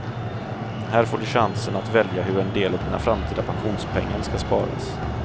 Här får du chansen att välja hur en del av dina framtida pensionspengar ska sparas.